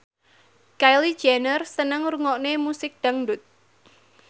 Kylie Jenner seneng ngrungokne musik dangdut